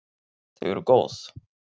Þau eru góð.